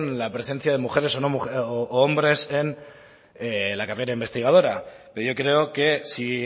la presencia de mujeres u hombres en la carrera investigadora pero yo creo que si